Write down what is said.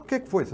O que que foi?